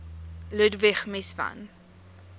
ludwig mies van